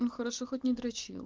ну хорошо хоть не дрочил